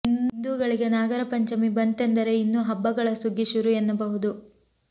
ಹಿಂದೂಗಳಿಗೆ ನಾಗರ ಪಂಚಮಿ ಬಂತೆಂದರೆ ಇನ್ನು ಹಬ್ಬಗಳ ಸುಗ್ಗಿ ಶುರು ಎನ್ನಬಹುದು